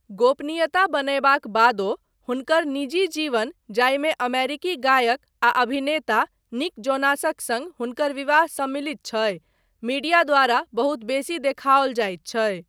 गोपनीयता बनयबाक बादो, हुनकर निजी जीवन जाहिमे अमेरिकी गायक आ अभिनेता निक जोनासक सङ्ग हुनकर विवाह सम्मिलित छै, मीडिया द्वारा बहुत बेसी देखाओल जाइत छै।